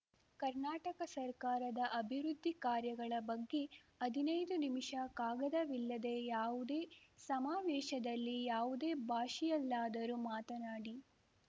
ಕರ್ನಾಟಕ ಸರ್ಕಾರದ ಅಭಿವೃದ್ಧಿ ಕಾರ್ಯಗಳ ಬಗ್ಗೆ ಹದಿನೈದು ನಿಮಿಷ ಕಾಗದವಿಲ್ಲದೆ ಯಾವುದೇ ಸಮಾವೇಶದಲ್ಲಿ ಯಾವುದೇ ಭಾಷೆಯಲ್ಲಾದರೂ ಮಾತನಾಡಿ